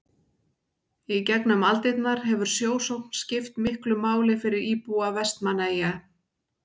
í gegnum aldirnar hefur sjósókn skipt miklu máli fyrir íbúa vestmannaeyja